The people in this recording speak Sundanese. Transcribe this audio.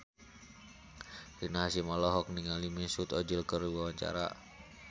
Rina Hasyim olohok ningali Mesut Ozil keur diwawancara